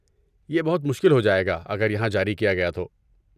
یہ بہت مشکل ہو جائے گا اگر یہاں جاری کیا گیا تو۔